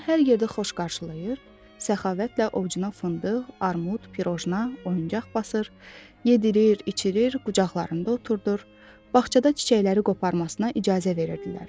Onu hər yerdə xoş qarşılayır, səxavətlə ovucuna fındıq, armud, pirojna, oyuncaq basır, yedirir, içirir, qucaqlarında oturdur, bağçada çiçəkləri qoparmasına icazə verirdilər.